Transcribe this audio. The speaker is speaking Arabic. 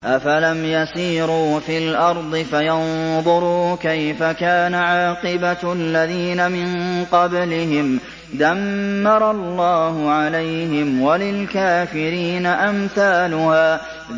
۞ أَفَلَمْ يَسِيرُوا فِي الْأَرْضِ فَيَنظُرُوا كَيْفَ كَانَ عَاقِبَةُ الَّذِينَ مِن قَبْلِهِمْ ۚ دَمَّرَ اللَّهُ عَلَيْهِمْ ۖ وَلِلْكَافِرِينَ أَمْثَالُهَا